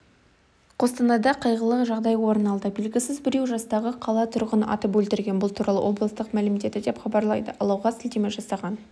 қостанайда қайғылы жағдай орын алды белгісіз біреу жастағы қала тұрғынын атып өлтірген бұл туралы облыстық мәлімдеді деп хабарлайды алауға сілтеме жасаған